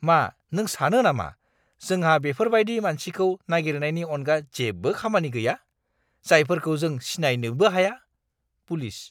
मा नों सानो नामा जोंहा बेफोरबायदि मानसिखौ नागिरनायनि अनगा जेबो खामानि गैया, जायफोरखौ जों सिनायनोबो हाया? (पुलिस)